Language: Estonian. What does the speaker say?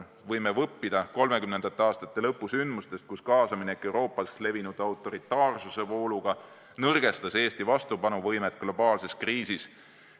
Me võime õppida 30. aastate lõpu sündmustest, kui kaasaminek Euroopas levinud autoritaarsuse vooluga nõrgestas Eesti vastupanuvõimet globaalses kriisis.